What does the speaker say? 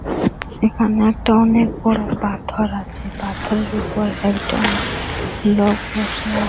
এখানে একটা অনেক বড় পাথর আছে পাথরের উপর একজন লোক বসে আ--